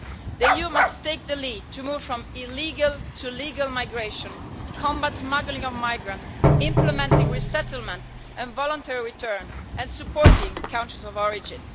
The EU must take the lead to move from illegal to legal migration, combat smuggling of migrants, implementing resettlement and voluntary returns, and supporting countries of origin.